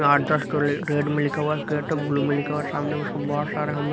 तो रेड में लिखा हुआ है क ब्लू में लिखा हुआ है सामने उसका बहुत सारा हम--